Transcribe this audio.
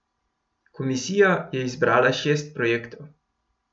Komisija je izbrala šest projektov.